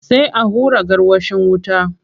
Sai a hura gwarwashin wuta.